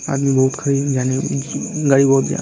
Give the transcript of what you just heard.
आदमी गाड़ी बोहत --